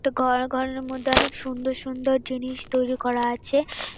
একটা ঘর আর ঘরের মধ্যে অনেক সুন্দর সুন্দর জিনিস তৈরি করা আছে ।